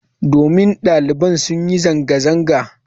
Domin daliban sun yi zanga-zanga.